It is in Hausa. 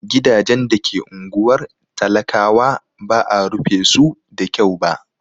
Gidajen da ke unguwar talakawa ba'a rufe su da kyau ba.